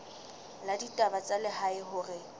la ditaba tsa lehae hore